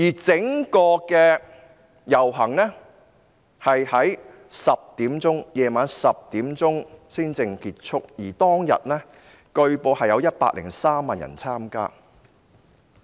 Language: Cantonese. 整個遊行於晚上10時才結束，而據報當天有103萬人參加。